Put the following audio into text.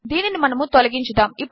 దీనినిమనముతొలగించుదాము